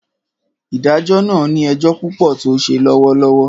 Ìdájọ na ni ejo pupo to se lọwọlọwọ